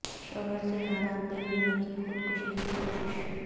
شوہر سے ناراض بیوی نے کی خود کشی کی کوشش